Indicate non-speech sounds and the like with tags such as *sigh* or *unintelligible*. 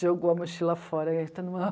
jogou a mochila fora e *unintelligible*